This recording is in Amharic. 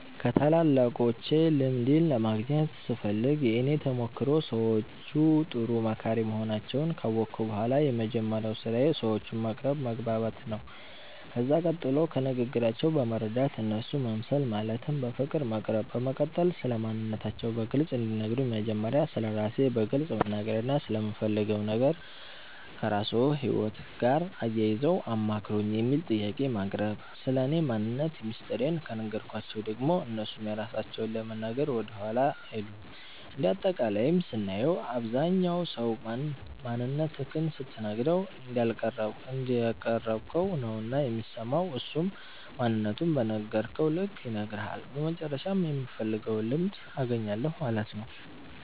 ከታላላቆቼ ልምድን ለማግኘት ስፈልግ የእኔ ተሞክሮ ሰዎቹ ጥሩ መካሪ መሆናቸዉን ካወቅሁ በኋላ የመጀመሪያዉ ስራዬ ሰዎቹን መቅረብ መግባባት ነዉ ከዛ ቀጥሎ ከንግግራቸዉ በመረዳት እነርሱ መምሰል ማለትም በፍቅር መቅረብ በመቀጠል ስለማንነታቸዉ በግልፅ እንዲነግሩን መጀመሪያ ስለራሴ በግልፅ መናገርና ስለምፈልገዉ ነገር ከራስዎ ህይወት ጋር አያይዘዉ አማክሩኝ የሚል ጥያቄን ማቅረብ ስለኔ ማንነት ሚስጥሬን ከነገርኳቸዉ ደግሞ እነርሱም የራሳቸዉን ለመናገር ወደኋላ አይሉም እንደ አጠቃላይም ስናየዉ አብዛኝ ሰዉ ማንነትክን ስትነግረዉ እንዳቀረብከዉ ነዉና የሚሰማዉ እሱም ማንነቱን በነገርከዉ ልክ ይነግርሀል በመጨረሻም የምፈልገዉን ልምድ አገኛለሁ ማለት ነዉ።